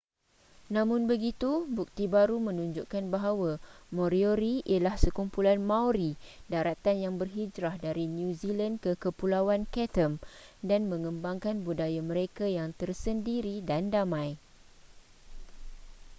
namun begitu bukti baru menunjukkan bahawa moriori ialah sekumpulan maori daratan yang berhijrah dari new zealand ke kepulauan chatham dan mengembangkan budaya mereka yang tersendiri dan damai